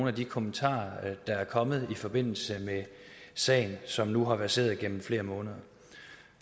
af de kommentarer der er kommet i forbindelse med sagen som nu har verseret igennem flere måneder